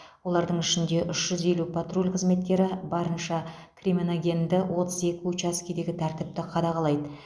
олардың ішінде үш жүз елу патруль қызметкері барынша кримоногенді отыз екі учаскедегі тәртіпті қадағалайды